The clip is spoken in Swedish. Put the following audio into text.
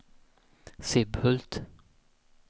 Sibbhult